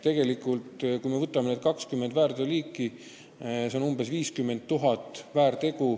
Kui me võtame need 20 väärteokoosseisu, siis langeb sinna alla umbes 50 000 väärtegu.